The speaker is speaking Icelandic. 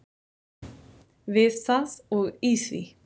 Við það og í því.